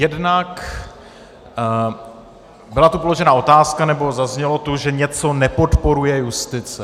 Jednak tu byla položena otázka, nebo zaznělo tu, že něco nepodporuje justice.